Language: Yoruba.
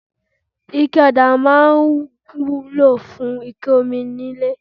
Ike ọdà máa ń wúlò fún ike omi nílé.